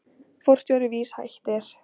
Forstjóri VÍS hættir